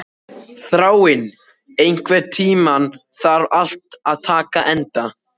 Þráinn, einhvern tímann þarf allt að taka enda.